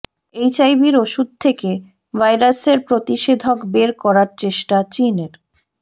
এইচআইভির ওষুধ থেকে ভাইরাসের প্রতিষেধক বের করার চেষ্টা চীনের